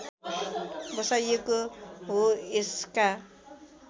बसाइएको हो यसका